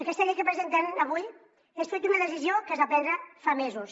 aquesta llei que presenten avui és fruit d’una decisió que es va prendre fa mesos